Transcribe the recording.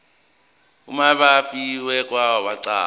umabi wefa owaqokwa